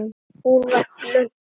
Hún var blönk.